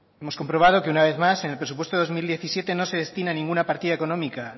hemos comprobado que una vez más en el presupuesto de dos mil diecisiete no se destina ninguna partida económica